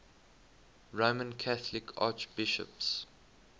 roman catholic archbishops